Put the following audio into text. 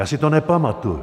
Já si to nepamatuji.